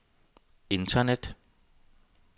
internet